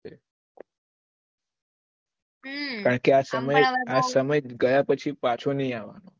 કારણ કે આ સમય આ સમય ગયા પછી પાછું નહી આવે